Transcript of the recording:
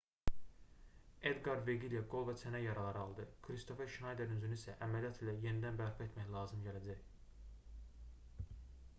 edqar veqilya qol və çənə yaraları aldı kristofer şnayderin üzünü isə əməliyyat ilə yenidən bərpa etmək lazım gələcək